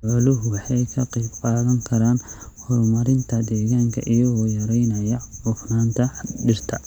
Xooluhu waxay ka qayb qaadan karaan horumarinta deegaanka iyagoo yaraynaya cufnaanta dhirta.